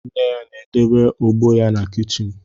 Nne ya na-edebe ogbo ya na kichin